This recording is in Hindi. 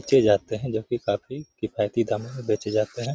बच्चे जाते हैं जो कि काफी किफायती दामो में बेचे जाते हैं।